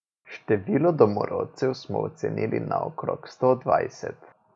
Število domorodcev smo ocenili na okrog sto dvajset.